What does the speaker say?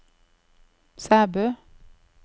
Sæbø